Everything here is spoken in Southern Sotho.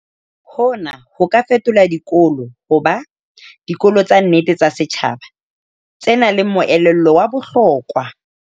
Hona ho ka fetola dikolo ho ba "dikolo tsa nnete tsa setjhaba" tse nang le moelelo wa bohlokwa.